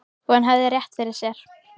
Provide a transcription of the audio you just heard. Og hann hafði rétt fyrir sér.